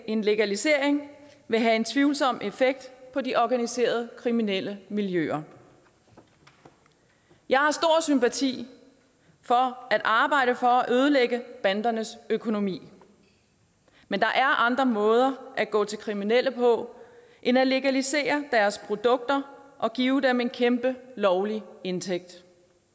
en legalisering vil have en tvivlsom effekt på de organiserede kriminelle miljøer jeg har stor sympati for at arbejde for at ødelægge bandernes økonomi men der er andre måder at gå til kriminelle på end at legalisere deres produkter og give dem en kæmpe lovlig indtægt